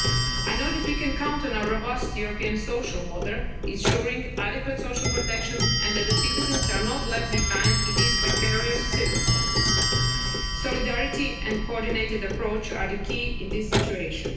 steps. I know that we can count on our robust European social model, ensuring adequate social protection and that citizens are not left behind in these precarious circumstances. Solidarity and a coordinated approach are the key in this situation.